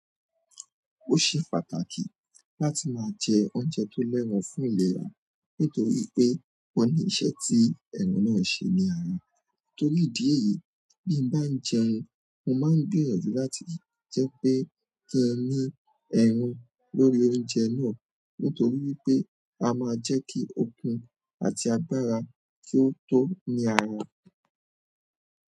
Ó ṣe pàtàkì láti máa jẹ oúnjẹ tó lero fún ìlera, nítorí pé ó ní ìṣe tí ero náà ṣe ní ara. Torí ìdí èyí, bí mo bá ń jẹun, mo máa ń di gbìyànjú láti jẹ́ pé kí ní ẹ̀ra lórí oúnjẹ náà, nítorí pé a máa jẹ́ kí òkun àti agbára kí ó tó ní ara.